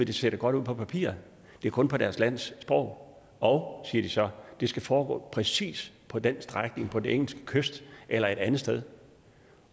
det ser godt ud på papiret det er kun på deres lands sprog og siger de så det skal foregå præcis på den strækning på den engelske kyst eller et andet sted